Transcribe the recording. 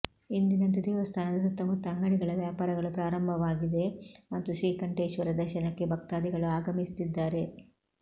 ಎಂದಿನಂತೆ ದೇವಸ್ಥಾನದ ಸುತ್ತಮುತ್ತ ಅಂಗಡಿಗಳ ವ್ಯಾಪಾರಗಳು ಪ್ರಾರಂಭ ವಾಗಿದೆ ಮತ್ತು ಶ್ರೀಕಂಠೇಶ್ವರ ದರ್ಶನಕ್ಕೆ ಭಕ್ತಾದಿಗಳು ಆಗಮಿಸುತ್ತಿದ್ದಾರೆ